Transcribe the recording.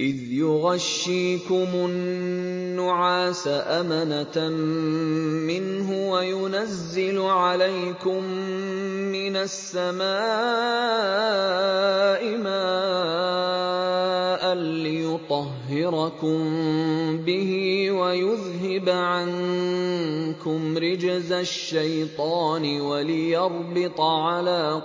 إِذْ يُغَشِّيكُمُ النُّعَاسَ أَمَنَةً مِّنْهُ وَيُنَزِّلُ عَلَيْكُم مِّنَ السَّمَاءِ مَاءً لِّيُطَهِّرَكُم بِهِ وَيُذْهِبَ عَنكُمْ رِجْزَ الشَّيْطَانِ وَلِيَرْبِطَ عَلَىٰ